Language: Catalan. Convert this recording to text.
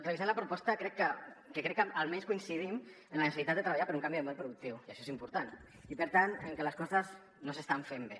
revisant la proposta crec que almenys coincidim en la necessitat de treballar per un canvi de model productiu i això és important i per tant en que les coses no s’es·tan fent bé